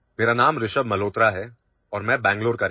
Hello, my name is Rishabh Malhotra and I am from Bengaluru